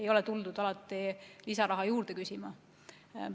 Ei ole tuldud alati lisaraha juurde küsima.